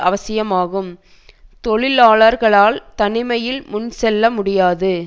அவசியமாகும் தொழிலாளர்களால் தனிமையில் முன்செல்ல முடியாது